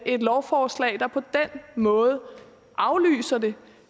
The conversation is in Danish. et lovforslag der på den måde aflyser det